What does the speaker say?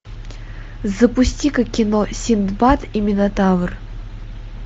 запусти ка кино синдбад и минотавр